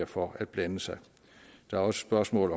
for at blande sig der er også spørgsmål